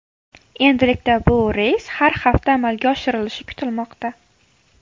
Endilikda bu reys har hafta amalga oshirilishi kutilmoqda.